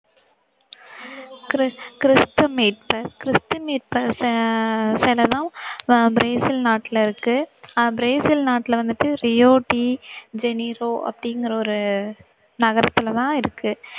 கிறி~ கிறிஸ்து மீட்பர் கிறிஸ்து மீட்பர் ஆஹ் பிரேசில் நாட்டுல இருக்கு. ஆஹ் பிரேசில் நாட்டுல வந்துட்டு ரியோ டி ஜெனிரோ அப்படிங்குற ஒரு நகரத்துல தான் இருக்கு.